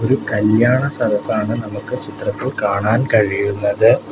ഒരു കല്യാണ സദസ്സാണ് നമുക്ക് ചിത്രത്തിൽ കാണാൻ കഴിയുന്നത്.